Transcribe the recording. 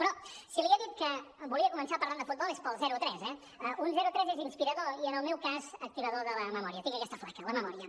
però si li he dit que volia començar parlant de futbol és pel zero a tres eh un zero a tres és inspirador i en el meu cas activador de la memòria tinc aquesta flaca la memòria